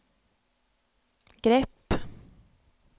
grepp